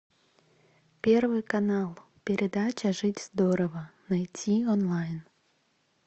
первый канал передача жить здорово найти онлайн